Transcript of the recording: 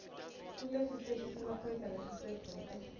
kulesiteshi semaphoyisa lesisedvute